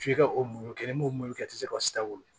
F'i ka o mulu kɛ n'o mulu ye i tɛ se ka sika wolo